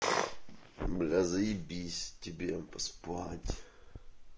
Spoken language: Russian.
бля заебись тебе поспать